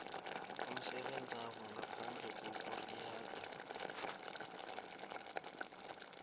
umsebenzabo ngaphandle kokuriyada